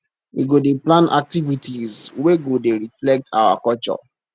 we go dey plan activities wey go dey reflect our culture